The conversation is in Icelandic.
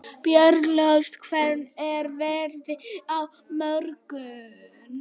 Björnólfur, hvernig er veðrið á morgun?